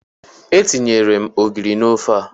Etinyere m ogiri n'ofe a.